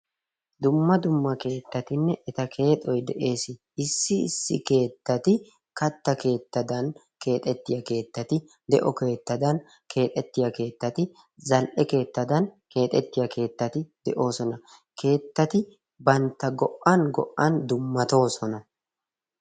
Dumma dumma keettatinne etaa keexoy de'ees. issi issi keettati katta keexxetiyaa keettati, de'o keexxetiyaa keettati, zal''e keexxetiyaa keettati de'oosona. keettati bantta go'an go'an dummatoosona.